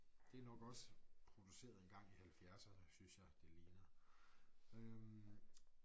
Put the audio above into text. Det nok også produceret en gang i halvfjerdserne synes jeg det ligner øh